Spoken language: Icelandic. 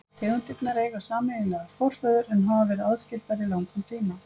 Tegundirnar eiga sameiginlegan forföður en hafa verið aðskildar í langan tíma.